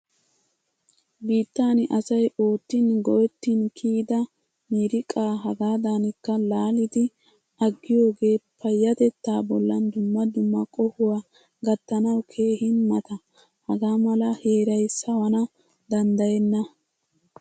Biittan asay oottin, goettin kiyida miriqa hagaadankka laalidi aggiyoge payatetta bollan dumma dumma qohuwaa gatanawu keehin mata. Hagaamala heeray sawana danddayena.